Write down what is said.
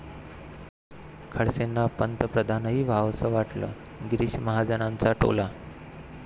खडसेंना पंतप्रधानही व्हावंसं वाटेल, गिरीश महाजनांचा टोला